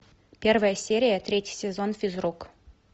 первая серия третий сезон физрук